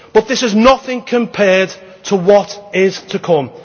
But this is nothing compared to what is to come.